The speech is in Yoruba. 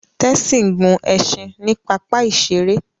Tessy gún ẹṣin ní papa iṣere